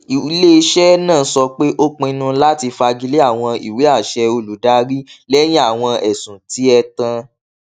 ileiṣẹ naa sọ pe o pinnu lati fagile awọn iweaṣẹ olùdarí lẹyin awọn ẹsun ti ẹtan